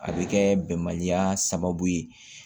A bɛ kɛ bɛnbaliya sababu ye